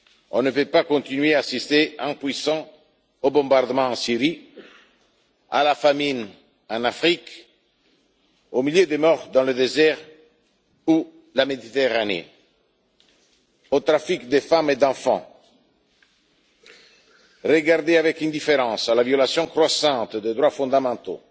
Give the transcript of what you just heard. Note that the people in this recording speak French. On ne peut pas continuer à assister, impuissants, aux bombardements en Syrie, à la famine en Afrique, aux milliers de morts dans le désert et en Méditerranée, à la traite de femmes et d'enfants, regarder avec indifférence la violation croissante des droits fondamentaux,